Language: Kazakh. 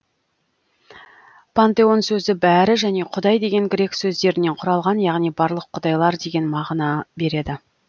пантеон сөзі бәрі және құдай деген грек сөздерінен құралған яғни барлық құдайлар деген мағына береді